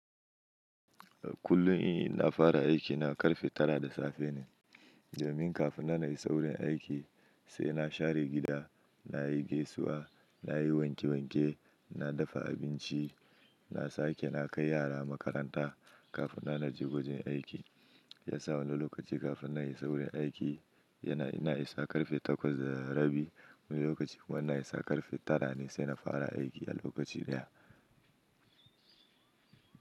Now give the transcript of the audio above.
Kullum ina fara aiki na karfe tara da safe ne, domin kafin na na wurin aiki sai na share gida, na yi gaisuwa, na yi wanke wanke, na dafa abinci, na sake na kai yara makaranta kafin na na je wajen aiki. Yasa wani lokaci kafin na yi saurin aiki yana ina i sa karfe takwas da rabi. Wani lokaci kuma ina yi sa karfe tara ne sai na fara aiki a lokaci ɗaya.